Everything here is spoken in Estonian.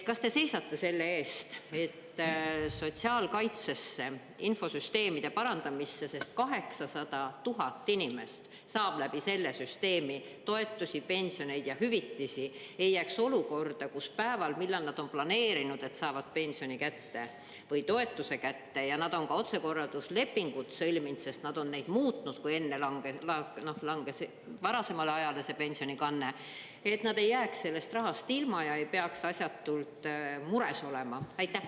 Kas te seisate selle eest, et sotsiaalkaitsesse, infosüsteemide parandamisse – sest 800 000 inimest saab läbi selle süsteemi toetusi, pensioneid ja hüvitisi – ei jääks olukorda, kus päeval, millal nad on planeerinud, et saavad pensioni kätte või toetuse kätte, ja nad on ka otsekorralduslepingud sõlminud, sest nad on neid muutnud, kui enne langes varasemale ajale see pensionikanne, et nad ei jääks sellest rahast ilma ja ei peaks asjatult mures olema?